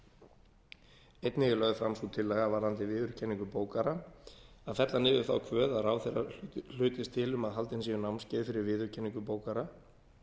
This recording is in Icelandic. einnig er lögð fram sú tillaga varðandi viðurkenningu bókara að fella niður þá kvöð að ráðherra hlutist til um að haldin séu námskeið fyrir viðurkenningu bókara